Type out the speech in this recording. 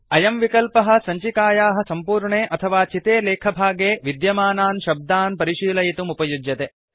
अयं विकल्पः सञ्चिकायाः सम्पूर्णे अथवा चिते लेखभागे विद्यमानान् शब्दान् परिशीलयितुम् उपयुज्यते